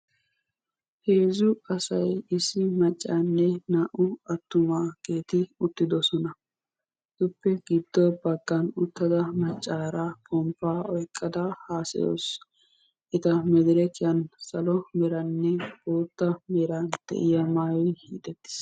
heezzu asay issi maccanne naa"u attumageeti uttidoosona. etuppe giddo baggan uttada maccaara pompaa oyqqada hassayawusu hegan madderekkiyan salo meranne boota meran de'iyaa maayoy hiixettiis.